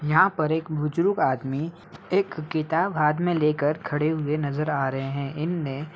यहाँ पर एक बुजुर्ग आदमी एक किताब हाथ में लेकर खड़े हुए नज़र आ रहे हैं। इनने --